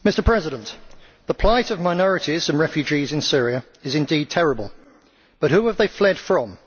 Mr President, the plight of minorities and refugees in Syria is indeed terrible, but who have they fled from?